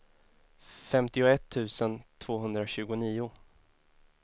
femtioett tusen tvåhundratjugonio